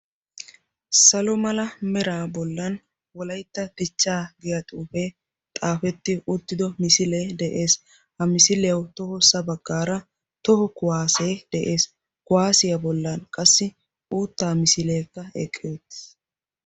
Salo mala meraa bollan wolaytta dichcha giyaa xuufe xaafetti uttido misilee de'ees. ha miisliyaw tohossa baggara toho kuwassee de'ees. kuwassiya bollan qassi uutta misilekka eqqi eqqiis,